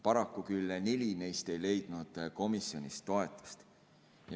Paraku küll neli neist ei leidnud komisjonis toetust.